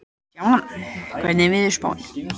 Damjan, hvernig er veðurspáin?